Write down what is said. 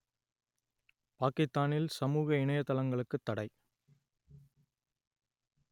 பாக்கித்தானில் சமூக இணையதளங்களுக்குத் தடை